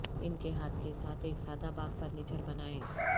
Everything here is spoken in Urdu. ان کے ہاتھ کے ساتھ ایک سادہ باغ فرنیچر بنائیں